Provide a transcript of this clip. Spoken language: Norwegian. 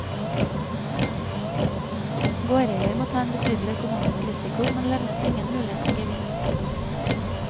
Gårdeier må ta en betydelig økonomisk risiko, men levnes ingen mulighet for gevinst.